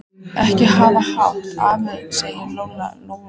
Ekki hafa hátt, afi, sagði Lóa Lóa.